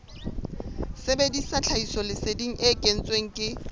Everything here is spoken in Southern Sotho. sebedisa tlhahisoleseding e kentsweng ke